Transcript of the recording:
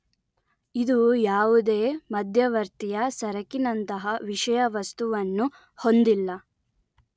ಇದು ಯಾವುದೇ ಮಧ್ಯವರ್ತಿಯ ಸರಕಿನಂತಹ ವಿಷಯವಸ್ತುವನ್ನು ಹೊಂದಿಲ್ಲ